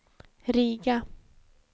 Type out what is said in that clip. Riga